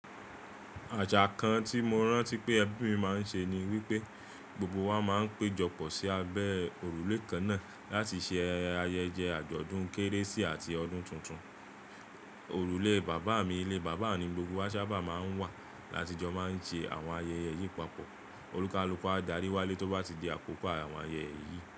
Àṣà kan tí mo rántí pé ẹbí mi máa ń ṣe ni wípé gbogbo wa má ń péjọpọ̀ sí abẹ́ òrùlé kan náà láti ṣe ayẹyẹ àjọ̀dún Kérésì àti ọdún tuntun. Òrùlé bàbá mi ilé bàbá ni gbogbo wa sábà máa ń wà, láti jọ máa ń ṣe àwọn ayẹyẹ yìí papọ̀. Olúkalúkù á darí wálé tó bá ti di àkókò àwọn ayẹyẹ yìí.